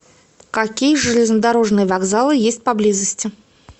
какие железнодорожные вокзалы есть поблизости